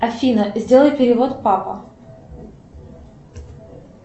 афина сделай перевод папа